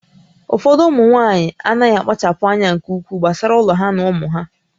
Ụfọdụ ụmụ nwaanyị anaghị akpachapụ anya nke ukwuu gbasara ụlọ ha na ụmụ ha